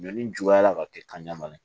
Donni juguyala ka kɛ kan ɲaman ye